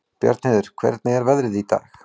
Bjarnheiður, hvernig er veðrið í dag?